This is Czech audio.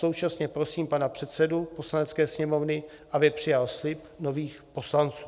Současně prosím pana předsedu Poslanecké sněmovny, aby přijal slib nových poslanců.